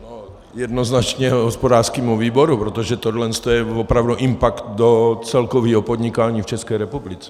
Jednoznačně hospodářskému výboru, protože tohle je opravdu impakt do celkového podnikání v České republice.